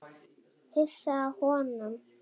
Hissa á honum.